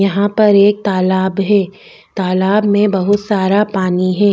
यहाँ पर एक तालाब है तालाब में बहुत सारा पानी है।